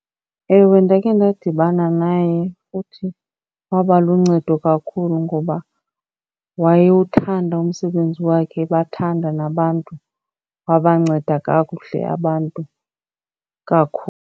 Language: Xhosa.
Ewe, ndakhe ndadibana naye futhi waba luncedo kakhulu ngoba wayewuthanda umsebenzi wakhe, ebathanda nabantu. Wabanceda kakuhle abantu kakhulu.